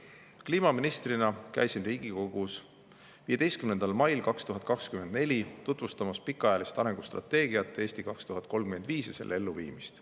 Kliimaministrina käisin Riigikogus 15. mail 2024 tutvustamas pikaajalist arengustrateegiat "Eesti 2035" ja selle elluviimist.